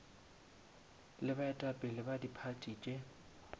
le baetapele ba diphathi tše